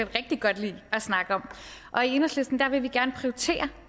rigtig godt lide at snakke om og i enhedslisten vil vi gerne prioritere